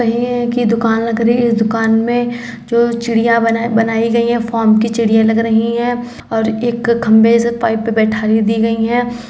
और ये इनकी दुकान लग रही है इस दुकान में जो चिड़िया बना बनाई गयी है फोम की चिड़िया लग रही है और एक खंबे से पाइप पे दी गई है।